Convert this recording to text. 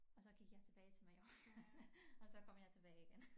Og så gik jeg tilbage til Mallorca og så kom jeg tilbage igen